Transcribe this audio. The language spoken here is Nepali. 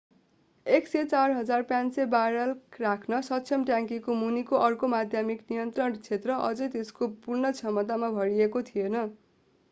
104,500 ब्यारेल राख्न सक्षम ट्याङ्की मुनिको अर्को माध्यमिक नियन्त्रण क्षेत्र अझै त्यसको पूर्ण क्षमतामा भरिएको थिएन